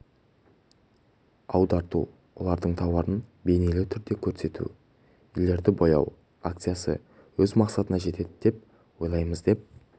аударту олардың тауарын бейнелі түрде көрсету үйлерді бояу акциясы өз мақсатына жетеді деп ойлаймыз деп